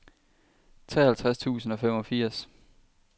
treoghalvtreds tusind og femogfirs